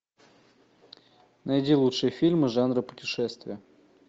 найди лучшие фильмы жанра путешествие